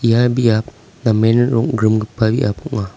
ia biap namen rong·grimgipa biap ong·a.